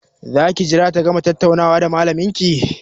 Za ki jira ta gama tattaunawa da malamin ki?